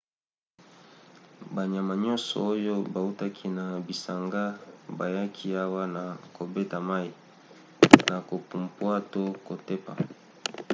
banyama nyonso oyo bautaki na bisanga bayaki awa na kobeta mai na kopumpwa to kotepa